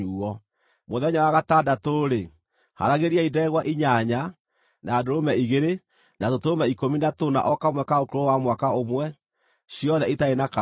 “ ‘Mũthenya wa gatandatũ-rĩ, haaragĩriai ndegwa inyanya, na ndũrũme igĩrĩ, na tũtũrũme ikũmi na tũna o kamwe ka ũkũrũ wa mwaka ũmwe, ciothe itarĩ na kaũũgũ.